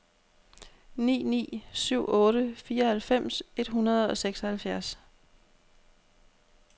ni ni syv otte fireoghalvfems et hundrede og seksoghalvfjerds